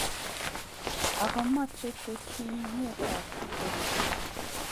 Ako machei teshinet ab koristo.